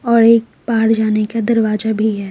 और एक बहार जाने का दरवाजा भी है।